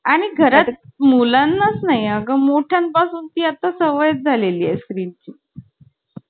आणि घरात मुलांनाच नाही अगं मोठय़ांपासून ती आता सवय झालेली आहे स्क्रीन ची